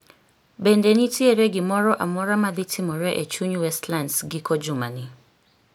Bende nitiere gimoro amora madhi timore e chuny Westlands giko jumani